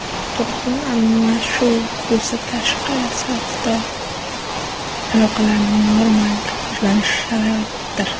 Turg‘un almashuv kursi tashqi savdo aloqalarining normal rivojlanishi shartidir.